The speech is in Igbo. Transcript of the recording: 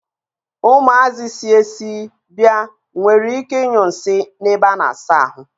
Umuazi si esi bia nwere ike I nyu nsi n'ebe a na-asa ahu.